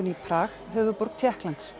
í Prag höfuðborg Tékklands